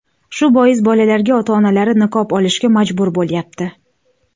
Shu bois, bolalarga ota-onalari niqob olishga majbur bo‘lyapti.